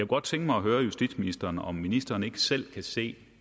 godt tænke mig at høre justitsministeren om ministeren ikke selv kan se